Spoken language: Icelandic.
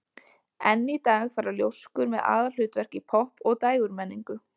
Enn í dag fara ljóskur með aðalhlutverk í popp- og dægurmenningu.